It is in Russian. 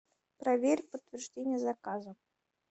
проверь подтверждение заказа